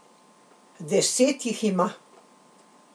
Deset jih ima.